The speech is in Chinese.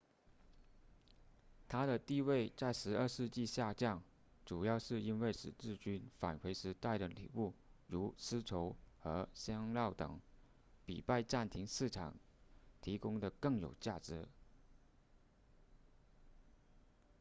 它的地位在十二世纪下降主要是因为十字军返回时带的礼物如丝绸和香料等比拜占庭市场提供的更有价值